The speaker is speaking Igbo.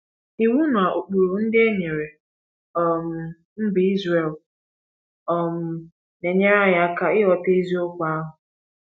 Iwu na ụkpụrụ ndị e nyere um mba Israel um na-enyere anyị aka ịghọta eziokwu ahụ.